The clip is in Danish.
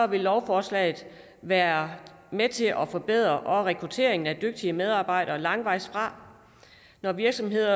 vil lovforslaget være med til at forbedre rekrutteringen af dygtige medarbejdere langvejs fra når virksomheder